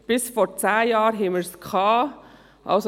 Bis vor zehn Jahren hatten wir es.